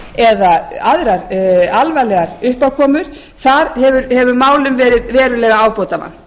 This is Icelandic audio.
mögulegt stíflurof eða aðrar alvarlegar uppákomur þar hefur málum verið verulega ábótavant